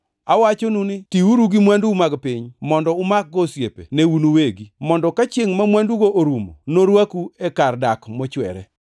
Awachonu ni tiuru gi mwandu mag piny mondo umakgo osiepe ne un uwegi, mondo ka chiengʼ ma mwandugo orumo, norwaku e kar dak mochwere.